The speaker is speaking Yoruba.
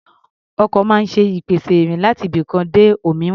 Ọkọ̀ máa ń ṣe ìpèsè ìrìn láti ibikan dé òmíràn.